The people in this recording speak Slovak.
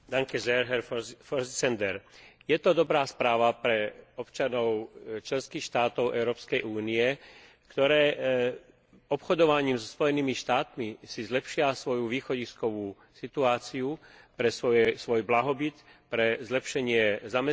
Je to dobrá správa pre občanov členských štátov Európskej únie, ktoré si obchodovaním so Spojenými štátmi zlepšia svoju východiskovú situáciu pre svoj blahobyt, pre zlepšenie zamestnanosti a pre zvýšenie